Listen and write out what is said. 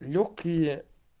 лёгкие